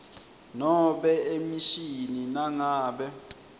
nobe emishini nangabe